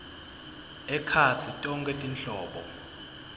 ekhatsi tonkhe tinhlobo